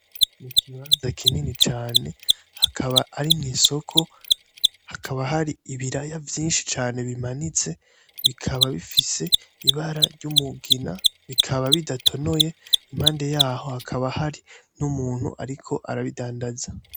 Ikibanza kini cane akaba ari mw,isoko hakaba hari ibiraya vyinshi cane bimanitse bikaba bifise ibara ry,umugina bikaba bidatonoye impande yaho hakaba hari n,Umuntu ariko arabidandaza.